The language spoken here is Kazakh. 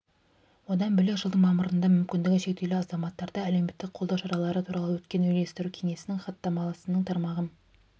одан бөлек жылдың мамырында мүмкіндігі шектеулі азаматтарды әлеуметтік қолдау шаралары туралы өткен үйлестіру кеңесінің хаттамасының тармағы